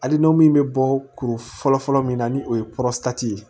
Hali n'o min bɛ bɔ kuru fɔlɔ fɔlɔ min na ni o ye ye